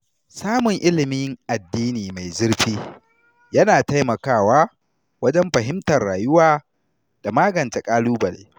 Samun ilimin addini mai zurfi yana taimakawa wajen fahimtar rayuwa da magance ƙalubale.